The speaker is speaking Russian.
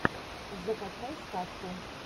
закачай сказку